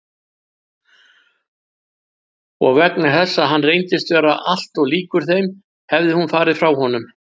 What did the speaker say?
Og vegna þess að hann reyndist vera alltof líkur þeim hefði hún farið frá honum.